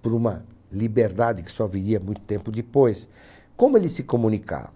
por uma liberdade que só viria muito tempo depois, como eles se comunicavam?